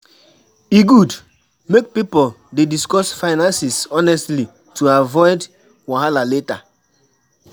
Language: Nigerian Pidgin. E good make pipo dey discuss finances honestly to avoid wahala later.